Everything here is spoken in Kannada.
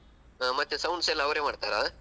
ಹ ಮತ್ತೆ sounds ಎಲ್ಲಾ ಅವರೇ ಮಾಡ್ತಾರ?